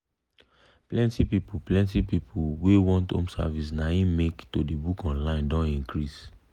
plenti people plenti people wey want home service na im make to dey book online don increase.